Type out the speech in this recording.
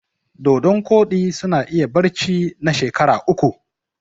Dodon ƙodi suna iya barci na shekara uku